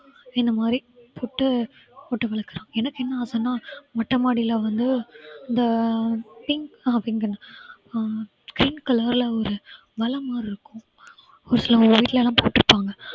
இந்த மாதிரி போட்டு போட்டு வளர்க்கறாங்க எனக்கு என்ன ஆசைன்னா மொட்டை மாடியில வந்து இந்த pink அஹ் pink color ல ஒரு வலை மாதிரி இருக்கும் ஒரு சில வீட்லயெல்லாம் பார்த்து இருப்பாங்க